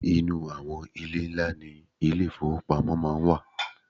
inu awon ile nla ni ile ifowopamo maa n wa